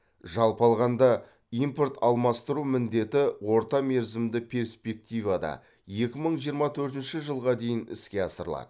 жалпы алғанда импорт алмастыру міндеті орта мерзімді перспективада екі мың жиырма төртінші жылға дейін іске асырылады